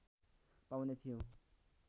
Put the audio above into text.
पाउने थियौं